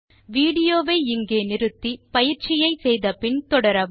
விடியோவை இங்கே நிறுத்தி பயிற்சியை செய்தபின் தொடரவும்